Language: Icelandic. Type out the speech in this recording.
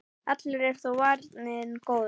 Allur er þó varinn góður.